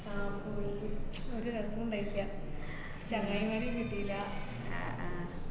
ആ full ഒരു രസോം ഇണ്ടായിട്ടില്ല. ചങ്ങായിമാരെയും കിട്ടീല്ല ഏർ ആഹ്